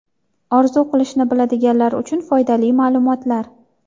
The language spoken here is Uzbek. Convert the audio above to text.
Orzu qilishni biladiganlar uchun foydali ma’lumotlar.